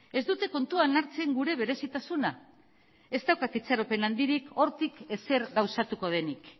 ez dute kontuan hartzen gure berezitasuna ez daukat itxaropen handirik hortik ezer gauzatuko denik